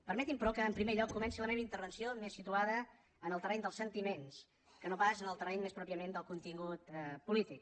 permetin me però que en primer lloc comenci la meva intervenció més situada en el terreny dels sentiments que no pas en el terreny més pròpiament del contingut polític